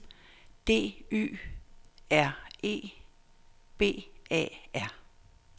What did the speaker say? D Y R E B A R